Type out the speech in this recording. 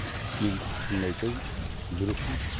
мен шынымды айтайын жүрексіндім